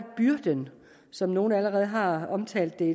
byrden som nogle allerede har omtalt den